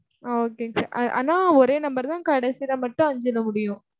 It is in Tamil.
ஆஹ் okay ங்க sir. ஆனா ஒரே number தான் கடைசில மட்டும் அஞ்சில முடியும்.